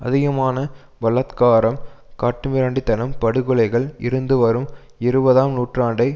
அதிகமான பலாத்காரம் காட்டுமிராண்டி தனம் படுகொலைகள் இருந்து வரும் இருபதாம் நூற்றாண்டை